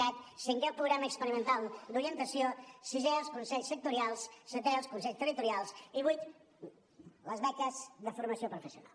cat cinquè el programa experimental d’orientació sisè els consells sectorials setè els consells territorials i vuitè les beques de formació professional